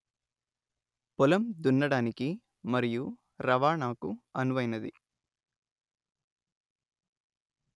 పొలం దున్నడానికి మరియు రవాణాకు అనువైనది